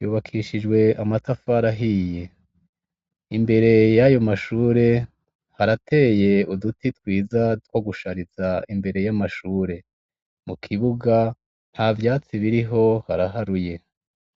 yubakishijwe amatafari ahiye. Imbere y'ayo mashure, harateye uduti twiza two gushariza imbere y'amashure. Mu kibuga, nta vyatsi biriho haraharuye.